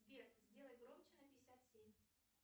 сбер сделай громче на пятьдесят семь